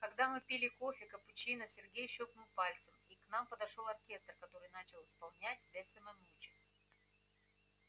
когда мы пили кофе капучино сергей щёлкнул пальцем и к нам подошёл оркестр который начал исполнять бесса ме мучо